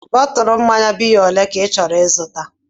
Bọtụlu mmanya biya olee ka ị chọrọ ịzụta?